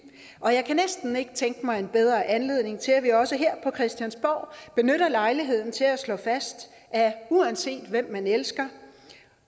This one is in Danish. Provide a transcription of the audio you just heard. og jeg kan næsten ikke tænke mig en bedre anledning til at vi også her på christiansborg benytter lejligheden til at slå fast at uanset hvem man elsker